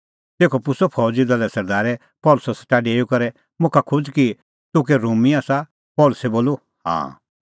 तेखअ पुछ़अ फौज़ी दले सरदारै पल़सी सेटा डेऊई करै मुखा खोज़ कि तूह कै रोमी आसा पल़सी बोलअ हाँ